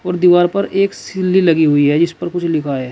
दीवार पर एक सिल्ली लगी हुई है जीस पर कुछ लिखा है।